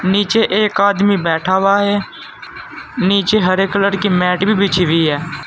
नीचे एक आदमी बैठा हुआ है नीचे हरे कलर की मैट भी बिछी हुई है।